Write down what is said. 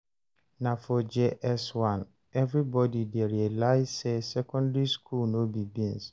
Na for JS1 everybody dey realize say secondary school no be beans.